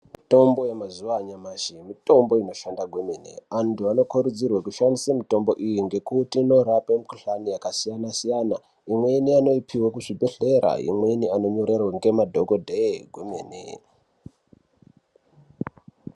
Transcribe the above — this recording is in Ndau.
Mitombo yemazuva anyamashi mitombo inoshanda kwemene antu anokurudzirwa kushandisa mitombo iyi ngekuti inorape mikuhlani yakasiyana siyana imweni anoipihwa kuzvibhehlera imweni anonyorerwa ngemadhokodheyi kwemene.